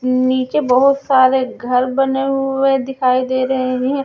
नीचे बहुत सारे घर बने हुए दिखाई दे रहे हैं।